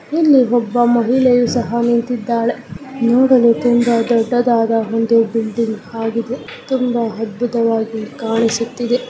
ಇಲ್ಲಿ ಒಬ್ಬ ಮಹಿಳೆ ಸಹ ನಿಂತಿದ್ದಾಳೆ ನೋಡಲು ತುಂಬಾ ದೊಡ್ಡದಾದ ಒಂದು ಬುಟ್ಟಿ ತುಂಬಾ ಅದ್ಭುತವಾಗಿ ಕಾಣಿಸುತ್ತಿದೆ .